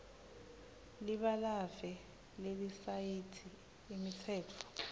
libalave lelisayithi imitsetfo